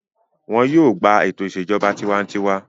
Wọn yóò gbà ètò ìṣèjọba tiwantiwa.